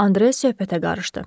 Andre söhbətə qarışdı.